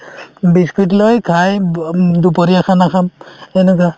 biscuit লৈ খাই দু উম দুপৰীয়া khana খাম এনেকুৱা